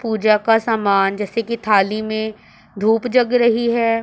पूजा का सामान जैसे की थाली में धूप जग रही हैं।